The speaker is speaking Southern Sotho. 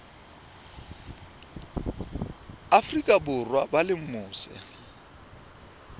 afrika borwa ba leng mose